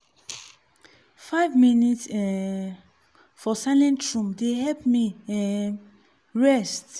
five minute um for silent room dey help me um rest.